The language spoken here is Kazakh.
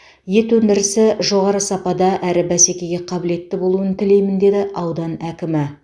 ет өндірісі жоғары сапада әрі бәсекеге қабілетті болуын тілеймін деді аудан әкімі